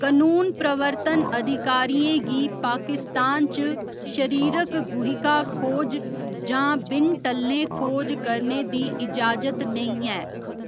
कनून प्रवर्तन अधिकारियें गी पाकिस्तान च शरीरक गुहिका खोज जां बिन टल्लें खोज करने दी इजाजत नेईं ऐ।